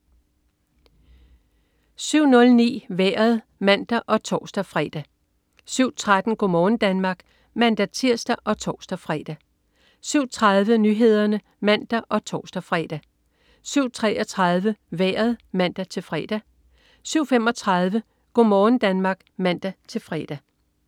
07.00 Nyhederne og Sporten (man og tors-fre) 07.09 Vejret (man og tors-fre) 07.13 Go' morgen Danmark (man-tirs og tors-fre) 07.30 Nyhederne (man og tors-fre) 07.33 Vejret (man-fre) 07.35 Go' morgen Danmark (man-fre)